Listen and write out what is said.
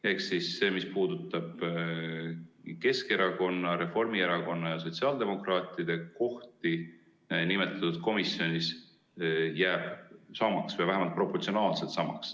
Ehk siis see, mis puudutab Keskerakonna, Reformierakonna ja sotsiaaldemokraatide kohti nimetatud komisjonis, jääb samaks või vähemalt proportsionaalselt samaks.